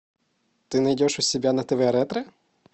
ты найдешь у себя на тв ретро